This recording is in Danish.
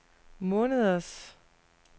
måneders